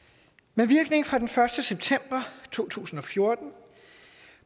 med virkning fra den første september to tusind og fjorten